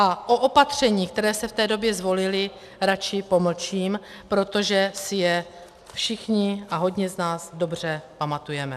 A o opatřeních, která se v té době zvolila, radši pomlčím, protože si je všichni a hodně z nás dobře pamatujeme.